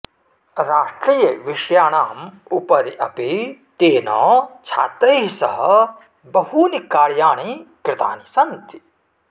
राष्ट्रियविषयाणाम् उपरि अपि तेन छात्रैः सह बहूनि कार्याणि कृतानि सन्ति